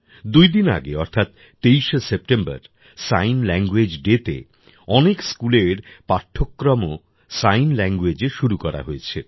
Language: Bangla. দুই দিন আগে অর্থাৎ ২৩শে সেপ্টেম্বর সাইন ল্যাঙ্গুয়েজ ডেতে অনেক স্কুলের পাঠ্যক্রমও সাইন ল্যাঙ্গুয়েজে শুরু করা হয়েছে